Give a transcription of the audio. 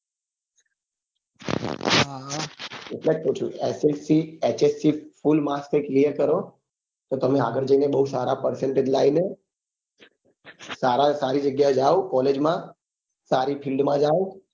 એટલે જ કઉં છું કે HSC SSC full marks એ clear કરો તો તમે આગળ જઈએ એ બઉ percentage લાવીને સારા સારી જગ્યા એ જાઓ collage માં સારી fild